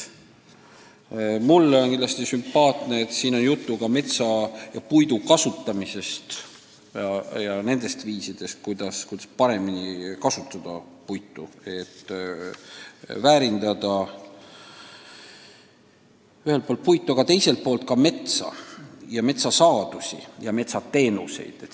Ma pean tunnistama, et mul on hea meel, et jutt on ka metsa ja puidu kasutamisest, nendest viisidest, kuidas puitu paremini kasutada, et seda rohkem väärindada, aga teiselt poolt arendada metsaga seotud teenuseid.